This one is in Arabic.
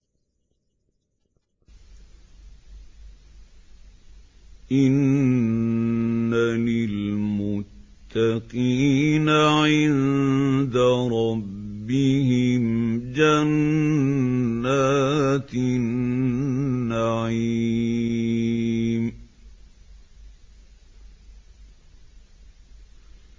إِنَّ لِلْمُتَّقِينَ عِندَ رَبِّهِمْ جَنَّاتِ النَّعِيمِ